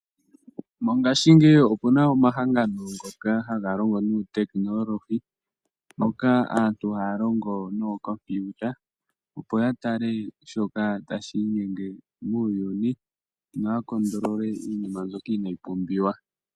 Mongashingeyi opu na omahangano ngoka haga longo nuutekinolohi, moka aantu haya longo nookompiuta opo ya tale shoka tashi inyenge muuyuni, no ya kontolole iinima mbyoka inaayi pumbiwa.